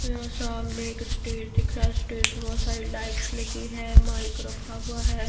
यह सामने एक स्टेज दिख रहा है स्टेज मे बहुत सारी लाइट्स लगी है माइक रखा हुआ है।